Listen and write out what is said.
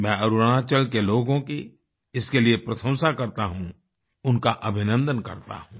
मैं अरुणाचल के लोगों की इसके लिए प्रशंसा करता हूँ उनका अभिनन्दन करता हूँ